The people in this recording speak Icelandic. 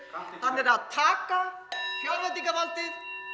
hann er að taka fjárveitingarvaldið